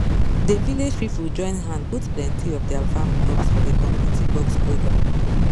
the village people join hand put plenty of their farm crops for the community box program